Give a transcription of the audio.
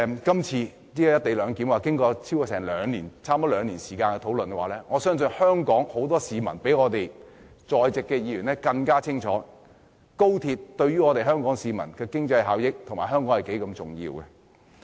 今次的"一地兩檢"安排已討論了差不多超過兩年，我相信很多香港市民比我們在席的議員更清楚的是，高鐵對於香港市民的經濟效益及對香港本身是多麼的重要。